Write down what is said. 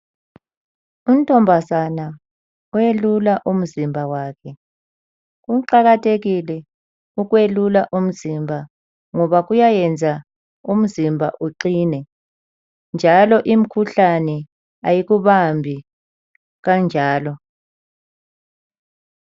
Untombazana owelula umzimba wakhe. Kuqakathekile ukwelula umzimba ngoba kuyayenza umzimba wakhe uqine, njalo imkhuhlane kayikubambi kanjalo.